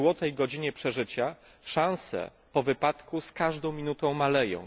złotej godzinie przeżycia szanse po wypadku z każdą minutą maleją.